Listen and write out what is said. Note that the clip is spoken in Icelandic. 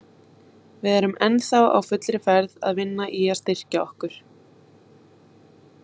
Við erum ennþá á fullri ferð að vinna í að styrkja okkur.